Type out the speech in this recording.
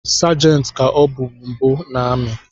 Segenti ka ọbụ mbụ nọ n’ami